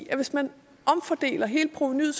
at hvis man omfordeler hele provenuet